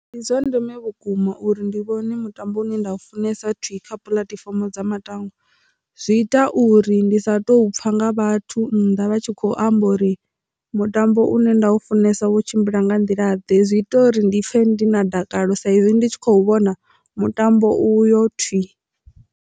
Ndi zwa ndeme vhukuma uri ndi vhone mutambo une nda u funesa thi kha puḽatifomo dza matangwa zwi ita uri ndi sa tou pfha nga vhathu nnḓa vha tshi khou amba uri mutambo une nda u funesa wo tshimbila nga nḓila ḓe zwi ita uri ndi pfhe ndi na dakalo sa izwi ndi tshi khou vhona mutambo uyo thwi.